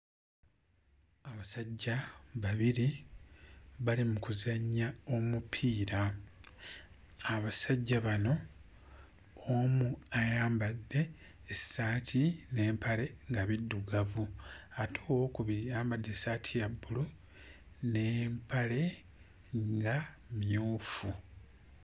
Abasajja babiri bali mu kuzannya omupiira. Abasajja bano omu ayambadde essaati n'empale nga biddugavu ate owookubiri ayambadde essaati ya bbulu n'empale nga mmyufu.